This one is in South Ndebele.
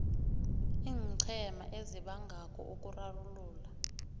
iinqhema ezibangako ukurarulula